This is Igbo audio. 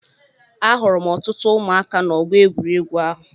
Ahụrụ m ọtụtụ ụmụaka na-Ọgbọ egwuregwu ahụ.